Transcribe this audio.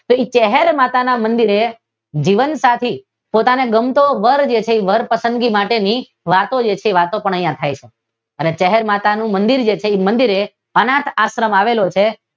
તો તે ચાહર માતા ના મંદીરે જીવનસાથી પોતાનો ગમતો વરછે વર પસંદગી માટેની વાતો જે છે તે વાતો થાય છે. જે ચાહર માતાના મંદીરે અનાથ આશ્રમ આવેલો છે.